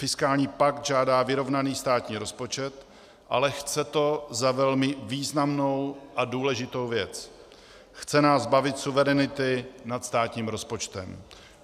Fiskální pakt žádá vyrovnaný státní rozpočet, ale chce to za velmi významnou a důležitou věc - chce nás zbavit suverenity nad státním rozpočtem.